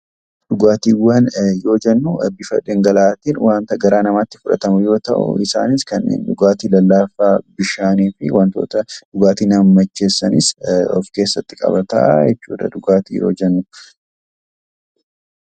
Dhugaatiiwwan kan jennu bifa dhangala'aa tiin wanta garaa namaa tti fudhatamu yoo ta'u, isaanis kanneen dhugaatii lalkaafaa, Bishaanii fi wantoota dhugaatii nama macheesssanis of keessatti qabataa jechuu dha.